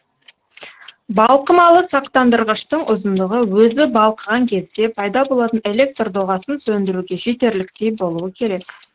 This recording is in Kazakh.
балқымалы сақтандырғыштың ұзындығы өзі балқыған кезде пайда болатын электр доғасын сөндіруге жетерліктей болуы керек